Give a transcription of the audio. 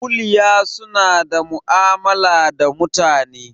Kuliya suna ma'amala da mutane